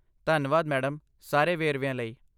ਧੰਨਵਾਦ, ਮੈਡਮ, ਸਾਰੇ ਵੇਰਵਿਆਂ ਲਈ।